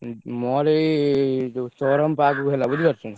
ହଁ ମୋର୍ ଏଇ ଚୌରମ୍ପାକ୍ କୁ ହେଲା ବୁଝି ପାରୁଛ ନା।